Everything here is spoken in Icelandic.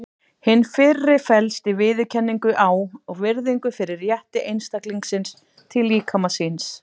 Hin fyrri felst í viðurkenningu á og virðingu fyrir rétti einstaklingsins til líkama síns.